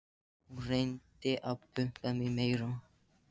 Hún reyndi að pumpa mig meira.